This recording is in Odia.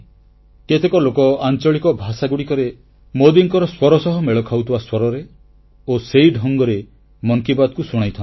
କେତେକ ଲୋକ ଆଂଚଳିକ ଭାଷାଗୁଡ଼ିକରେ ମୋଦୀଙ୍କର ସ୍ୱର ସହ ମେଳ ଖାଉଥିବା ସ୍ୱରରେ ଓ ସେହି ଢଙ୍ଗରେ ମନ କି ବାତ୍କୁ ଶୁଣାଇଥାନ୍ତି